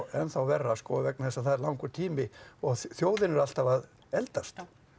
enn þá verra vegna þess að það er langur tími og þjóðin er alltaf að eldast